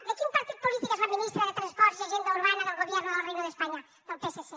de quin partit polític és la ministra de transports i agenda urbana del gobierno del reino de españa del psc